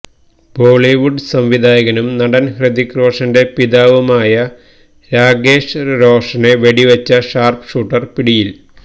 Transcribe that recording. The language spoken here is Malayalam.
ബോളിവുഡ് സംവിധായകനും നടന് ഹൃത്വിക് റോഷന്റെ പിതാവുമായ രാകേഷ് റോഷനെ വെടിവെച്ച ഷാര്പ് ഷൂട്ടര് പിടിയില്